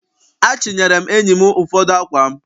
Achịnyere m enyi m ụfọdụ ákwà m.